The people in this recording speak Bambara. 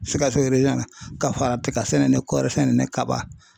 Sikaso na ka fara tika sɛnɛ ni kɔɔri sɛnɛ ni kaba